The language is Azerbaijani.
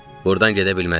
Burdan gedə bilməzdik.